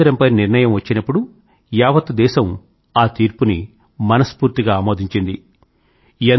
రామమందిరం పై నిర్ణయం వచ్చినప్పుడు యావత్ దేశం ఆ తీర్పుని మనస్ఫూర్తిగా ఆమోదించింది